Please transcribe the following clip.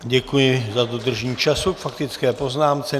Děkuji za dodržení času k faktické poznámce.